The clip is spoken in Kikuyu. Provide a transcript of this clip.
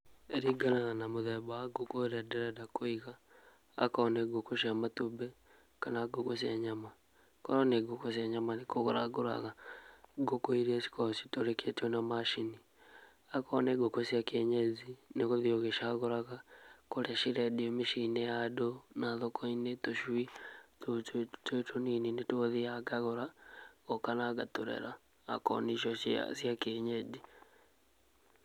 ĩringanaga na mũthemba wa ngũkũ ũrĩa ndĩrenda kũiga, akorwo nĩ ngũkũ cia matumbĩ kana ngũkũ cia nyama. Akorwo nĩ ngũkũ cia nyama nĩ kũgũra ngũraga ngũkũ iria ikoragwo citũrĩkĩtio na macini, akorwo nĩ ngũkũ cia kĩenyenji nĩvgũthiĩ ũgĩcagũraga kũrĩa cirendio mĩcinĩ, ya andũ na thoko-inĩ tũcui tũu twĩ tũnini nĩtuo thiyaga ngatũgũra ngoka na ngatũrera na akorwo nĩ icio cia kĩenyenji.